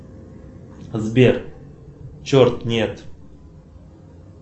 сбер черт нет